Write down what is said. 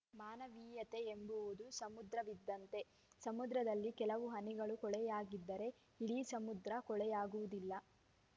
ಮಾನವೀಯತೆಯೆಂಬುದು ಸಮುದ್ರವಿದ್ದಂತೆ ಸಮುದ್ರದಲ್ಲಿ ಕೆಲವು ಹನಿಗಳು ಕೊಳೆಯಾಗಿದ್ದರೆ ಇಡೀ ಸಮುದ್ರ ಕೊಳೆಯಾಗುವುದಿಲ್ಲ